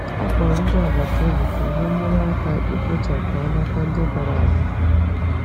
Akpọrọ m ndị agbata obi ka ha nyere aka ikpochapụ alaka ndị dara ada.